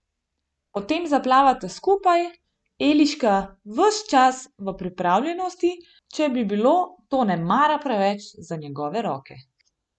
Potem zaplavata skupaj, Eliška ves čas v pripravljenosti, če bi bilo to nemara preveč za njegove roke.